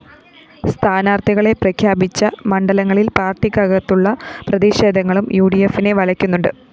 സ്ഥാനാര്‍ത്ഥികളെ പ്രഖ്യാപിച്ച മണ്ഡലങ്ങളില്‍ പാര്‍ട്ടിക്കകത്തുള്ള പ്രതിഷേധങ്ങളും യുഡിഎഫിനെ വലക്കുന്നുണ്ട്